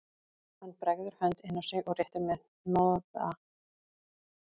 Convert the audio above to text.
Hann bregður hönd inn á sig og réttir mér hnoða